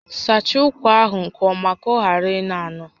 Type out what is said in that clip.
Sachaa ụkwa ahụ nke ọma ka ọ ghara ịnọ anọ!